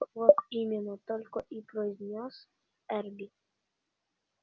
вот именно только и произнёс эрби